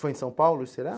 Foi em São Paulo, será?